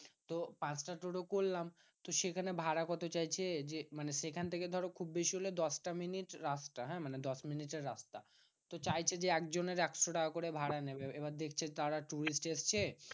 তো পাঁচটা টোটো করলাম, তো সেখানে ভাড়া কত চাইছে? যে মানে সেখান থেকে ধরো খুব বেশি হলে দশটা মিনিট রাস্তা হ্যাঁ মানে দশমিনিটের রাস্তা? তো চাইছে যে একজনের একশো টাকা করে ভাড়া নেবে। এবার দেখছে তারা tourist এসেছে